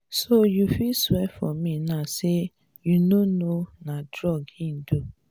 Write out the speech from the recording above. so you fit swear for me now say you no know na drug he do?